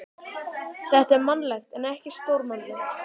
Þetta er mannlegt en ekki stórmannlegt.